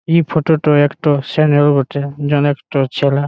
এ photo টো একটা বটে। যেন একটো ছেলে--